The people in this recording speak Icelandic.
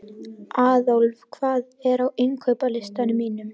Aðólf, hvað er á innkaupalistanum mínum?